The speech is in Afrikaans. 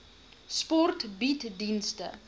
sport bied dienste